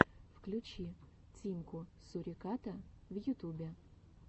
включи тимку суриката в ютубе